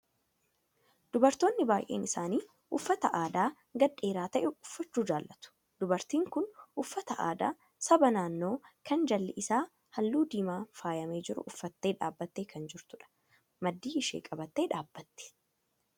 Dubartoonni baay'een isaanii uffata aadaa gadi dheeraa ta'e uffachuu jaalatu. Dubartiin kun uffata aadaa saba naannoo kan jalli isaa halluu diimaan faayamee jiru uffattee dhaabattee kan jirtudha. Maddii ishii qabattee dhaabbatti.